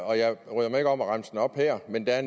og jeg bryder mig ikke om at remse dem op her men der er